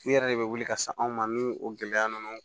U yɛrɛ de bɛ wuli ka se anw ma ni o gɛlɛya ninnu